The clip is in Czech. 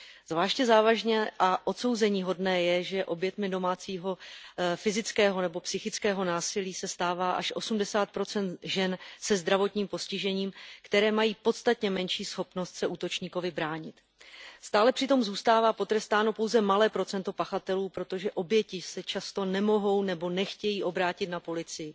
Zvláště závažné a odsouzeníhodné je, že oběťmi domácího fyzického nebo psychického násilí se stává až osmdesát procent žen se zdravotním postižením, které mají podstatně menší schopnost se útočníkovi bránit. Stále přitom zůstává potrestáno pouze malé procento pachatelů, protože oběti se často nemohou nebo nechtějí obrátit na policii.